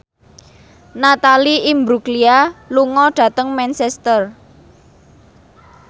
Natalie Imbruglia lunga dhateng Manchester